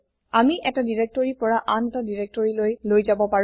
আমি এটা ডাইৰেক্টৰী পৰা আন এটা directoryলৈ লৈ যাব পাৰো